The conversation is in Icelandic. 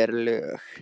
en lög